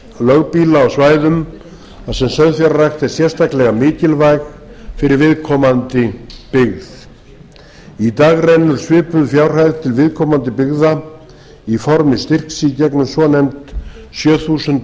lögbýla á svæðum þar sem sauðfjárrækt er sérstaklega mikilvæg fyrir viðkomandi byggð í dag rennur svipuð fjárhæð til viðkomandi byggða í formi styrks í gegnum sjö þúsund